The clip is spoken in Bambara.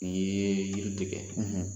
U ye i